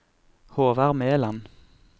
Håvard Meland